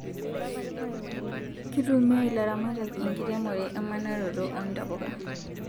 Kutumia ilaramatak enkiremore emanaroto oo ntapuka